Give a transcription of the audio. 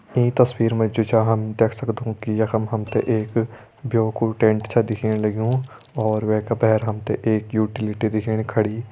ईं तस्वीर मा जु छा हम देख सक्दों कि यखम हम ते एक ब्यो कु टेंट छा दिखेण लग्युं और वै का भैर हम ते एक यूटिलिटी दिखेणी खड़ी।